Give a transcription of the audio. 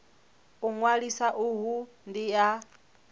u ṅwalisa uhu ndi ha